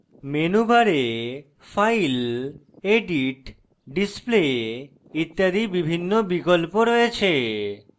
menu bar file edit display ইত্যাদি বিভিন্ন বিকল্প রয়েছে